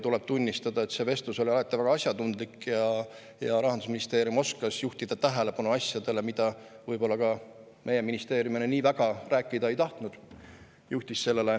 Tuleb tunnistada, et see vestlus oli alati väga asjatundlik ja Rahandusministeerium oskas juhtida tähelepanu asjadele, millest meie ministeerium võib-olla nii väga rääkida ei tahtnud.